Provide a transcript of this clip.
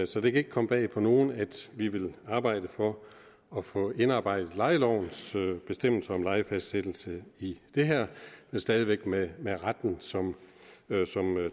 så det kan ikke komme bag på nogen at vi vil arbejde for at få indarbejdet lejelovens bestemmelser om lejefastsættelse i det her men stadig væk med med retten som